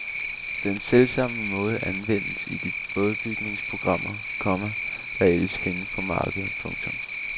Den selvsamme måde anvendes i de bådbygningsprogrammer, komma der ellers findes på markedet. punktum